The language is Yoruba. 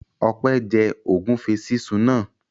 Ọpẹ́ jẹ ògúnfe sísun náà?